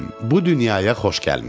Bu dünyaya xoş gəlmisən.